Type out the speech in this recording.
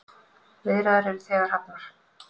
Viðræður eru þegar hafnar.